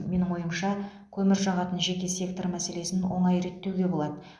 менің ойымша көмір жағатын жеке сектор мәселесін оңай реттеуге болады